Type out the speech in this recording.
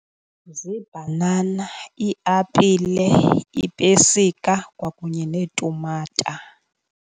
Ziibhanana, iiapile, iipesika kwakunye neetumata.